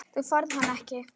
Þú færð hann ekki.